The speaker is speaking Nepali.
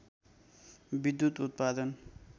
विधुत उत्पादन